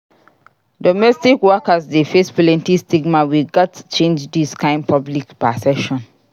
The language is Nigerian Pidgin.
Domestic workers dey face plenty stigma; we gats change dis kain public perception.